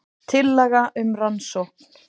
Tillaga um rannsókn